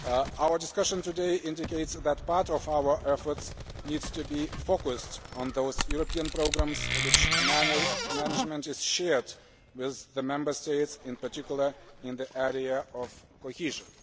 Our discussion today indicates that part of our efforts needs to be focused on those European programmes where management is shared with the Member States, in particular in the area of cohesion.